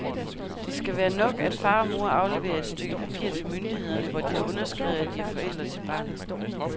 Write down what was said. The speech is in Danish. Det skal være nok, at far og mor afleverer et stykke papir til myndighederne, hvor de har underskrevet, at de er forældre til barnet.